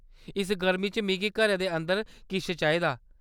इस गर्मी च मिगी घरै दे अंदर किश चाहिदा।